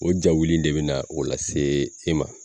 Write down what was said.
O jawuli in de be na o lase e ma